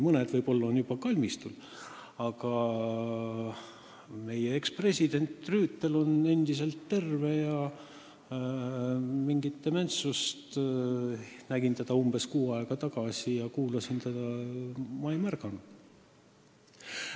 Mõned on võib-olla juba kalmistul, aga meie ekspresident Rüütel on endiselt terve ja mingit dementsust – nägin ja kuulasin teda umbes kuu aega tagasi – ei ole ma märganud.